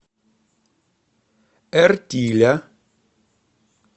эртиля